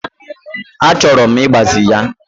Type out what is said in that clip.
Achọrọ m ịgbaze ya.